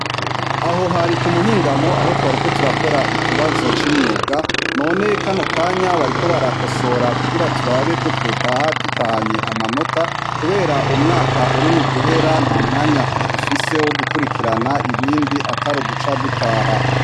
Aho hari ku muhingamo, aho twariko turakora ikibazo c'imyuga. None kano kanya bariko barakosora kugira turabe ko twotaha dutahanye amanota kubera umwaka uri muguhera, ntamwanya dufise w'ugukwirikirana ibindi atari uguca dutaha.